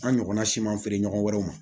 An ɲɔgɔnna siman feere ɲɔgɔn wɛrɛw ma